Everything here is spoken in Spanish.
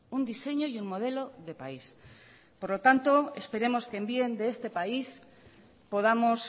un diseño y un modelo de país por lo tanto esperemos que en bien de este país podamos